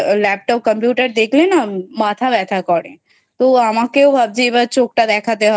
Laptop , Computer দেখলে না মাথা ব্যথা করে তো আমাকেও ভাবছি এবার চোখটা দেখাতে হবে